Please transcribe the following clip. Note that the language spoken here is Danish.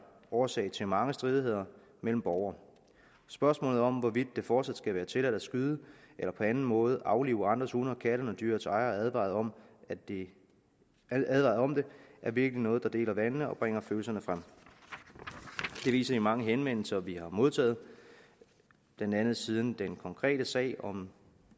årsag til mange stridigheder mellem borgere spørgsmålet om hvorvidt det fortsat skal være tilladt at skyde eller på anden måde aflive andres hunde og katte når dyrets ejer er advaret om det er virkelig noget der deler vandene og bringer følelserne frem det viser de mange henvendelser vi har modtaget blandt andet siden den konkrete sag om